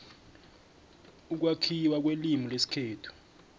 ukwakhiwa kwelimu lesikhethu